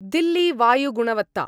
Delhi वायुगुणवत्ता